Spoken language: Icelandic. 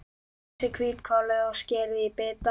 Hreinsið hvítkálið og skerið í bita.